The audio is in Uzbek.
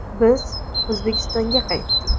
Biz O‘zbekistonga qaytdik.